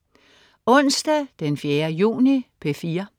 Onsdag den 4. juni - P4: